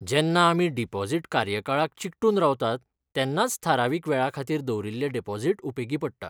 जेन्ना आमी डिपॉझिट कार्यकाळाक चिकटून रावतात तेन्नाच थारावीक वेळाखातीर दवरिल्लें डिपॉझिट उपेगी पडटा.